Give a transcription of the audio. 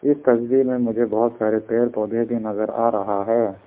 इस तस्वीर में मुझे बहुत सारे पेड़ पौधा भी नजर आ रहा है।